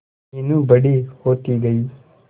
मीनू बड़ी होती गई